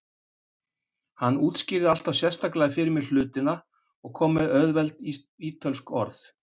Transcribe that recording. Hann útskýrði alltaf sérstaklega fyrir mér hlutina og kom með auðveld ítölsk orð.